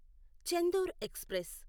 Chendur express